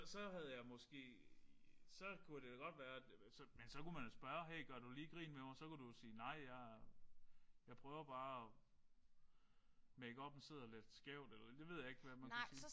Så havde jeg måske så kunne det da godt være at så men så kunne man jo spørge hey gør du lige grin med mig? Så kunne du jo sige nej jeg jeg prøver bare makeuppen sidder lidt skævt eller det ved jeg ikke hvad man kunne sige